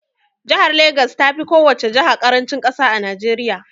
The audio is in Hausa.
Jahar Legas tafi kowace jaha ƙarancin ƙasa a Najeriya